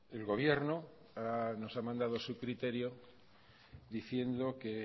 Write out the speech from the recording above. el gobierno nos ha mandado su criterio diciendo que